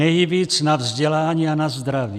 Nejvíc na vzdělání a na zdraví.